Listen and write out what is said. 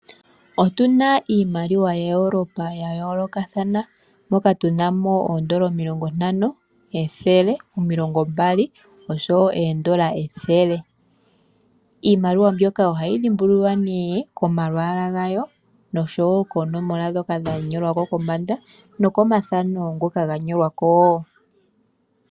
Otuna iimaliwa yaEurope yayoolokathana moka tunamo ooEuro 50, 100, 20 iimaliwa mbyoka ohayi dhimbululiwa komalwaala gawo noshowo koonomola ndhoka dha shangwa kombanda noshowoo komafano ngoka gathanekwako.